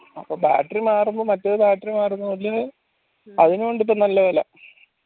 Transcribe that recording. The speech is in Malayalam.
അപ്പോ battery മാറുമ്പോ മറ്റൊരു battery മാറുന്ന പോലെ അതിനു ഉണ്ട് ഇപ്പൊ നല്ല വില